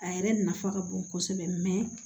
A yɛrɛ nafa ka bon kosɛbɛ